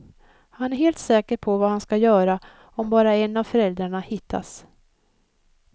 Han är helt säker på vad han ska göra om bara en av föräldrarna hittas.